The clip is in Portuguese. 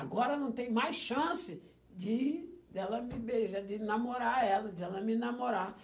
Agora não tem mais chance de de ela me beijar, de namorar ela, de ela me namorar.